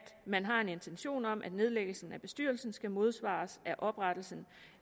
man har en intention om at nedlæggelsen af bestyrelsen skal modsvares af oprettelsen